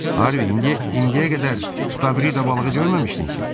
Harvi, indi indiyə qədər stavrida balığı görməmişdin ki?